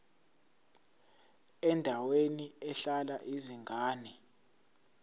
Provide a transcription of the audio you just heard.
endaweni ehlala izingane